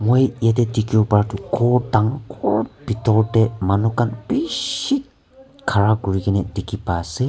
aro yete dikibo para tu ghor dangoor bidor de manu kan biiishi ghara kuri kina diki pai ase.